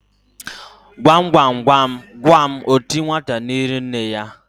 Gwam gwam gwam gwam oti nwata n'iru nne ya?